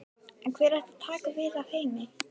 En hver ætti að taka við af Heimi?